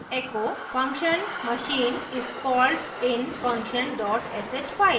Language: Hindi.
echo function machine is called in function dot sh file